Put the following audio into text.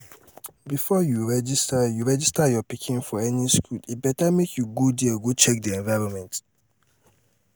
before you register you register your pikin for any school e better make you go there go check the environment